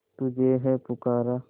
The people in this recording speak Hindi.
तुझे है पुकारा